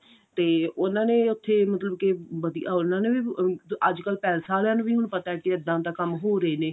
ਤੇ ਉਹਨਾਂ ਨੇ ਉੱਥੇ ਮਤਲਬ ਕੇ ਵਧੀਆ ਉਹਨਾ ਨੇ ਵੀ ਅੱਜਕਲ ਪੈਲੇਸ ਆਲਿਆ ਨੂੰ ਵੀ ਹੁਣ ਪਤਾ ਕੇ ਇੱਦਾਂ ਦਾ ਕੰਮ ਹੋ ਰਹੇ ਨੇ